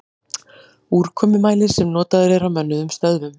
Úrkomumælir sem notaður er á mönnuðum stöðvum.